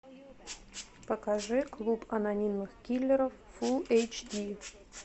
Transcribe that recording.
покажи клуб анонимных киллеров фулл эйч ди